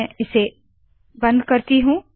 मैं इसे बंद करती हूँ